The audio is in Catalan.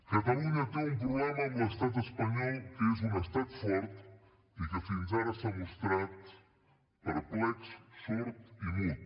catalunya té un problema amb l’estat espanyol que és un estat fort i que fins ara s’ha mostrat perplex sord i mut